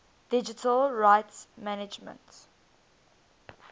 digital rights management